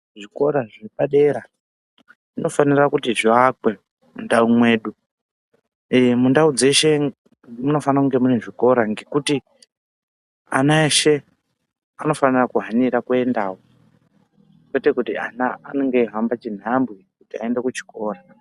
Zvikora zvepa dera zvino fanira kuti zvi akwe mu ndau mwedu ee mundau dzeshe munofana kunge mune zvikora ngekuti ana eshe anofanira kuhanira kuendawo kwete kuti ana anenge eyi hamba chi nhambwe kuti ayende ku chikora.